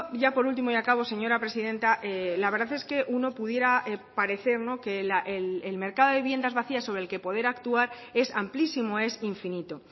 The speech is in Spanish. ya por último y acabo señora presidenta la verdad es que uno pudiera parecer que el mercado de viviendas vacías sobre el que poder actuar es amplísimo es infinito